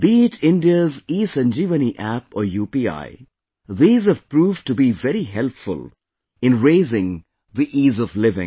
Be it India's ESanjeevaniApp or UPI, these have proved to be very helpful in raising the Ease of Living